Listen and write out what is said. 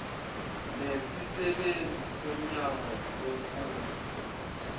nesisebenzi somnyango wemfundo